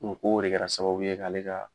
Ko ko de kɛra sababu ye k'ale ka.